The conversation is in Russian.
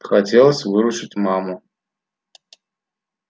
хотелось выручить маму